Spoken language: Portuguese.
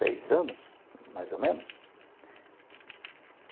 Seis anos, mais ou menos?